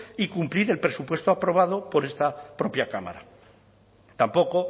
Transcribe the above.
y cumplir el presupuesto aprobado por esta propia cámara tampoco